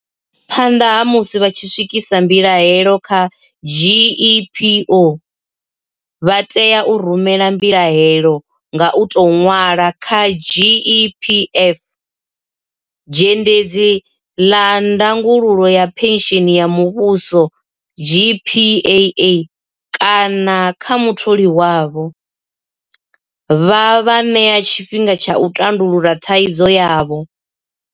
Phanḓa ha musi vha tshi swikisa mbilahelo kha GEPO, vha tea u rumela mbilahelo nga u tou ṅwala kha GEPF, Zhendedzi ḽa Ndangulo ya Phentsheni ya Muvhuso GPAA kana kha mutholi wavho, vha vha ṋee tshifhinga tsha uri vha tandulule thaidzo yavho.